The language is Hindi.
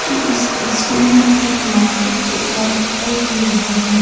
इस तस्वीर में एक मार्केट जैसा दिखाई दे रहा है।